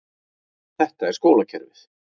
Þetta er skólakerfið.